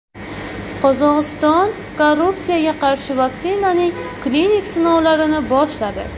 Qozog‘iston koronavirusga qarshi vaksinaning klinik sinovlarini boshladi.